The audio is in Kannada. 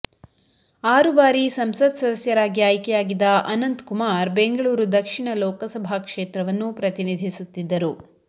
ಆರು ಬಾರಿ ಸಂಸತ್ ಸದಸ್ಯರಾಗಿ ಆಯ್ಕೆಯಾಗಿದ್ದ ಅನಂತ್ಕುಮಾರ್ ಬೆಂಗಳೂರು ದಕ್ಷಿಣ ಲೋಕಸಭಾ ಕ್ಷೇತ್ರವನ್ನು ಪ್ರತಿನಿಧಿಸುತ್ತಿದ್ದರು